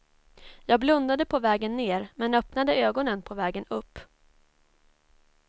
Jag blundade på vägen ner men öppnade ögonen på vägen upp.